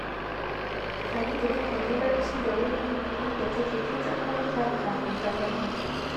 Farida takan yi barci da wuri, inda take kintsa kayanta kafin ta kwanta